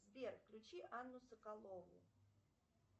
сбер включи анну соколову